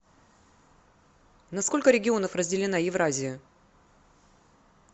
на сколько регионов разделена евразия